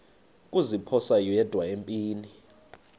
kuziphosa yedwa empini